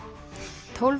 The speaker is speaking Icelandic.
tólf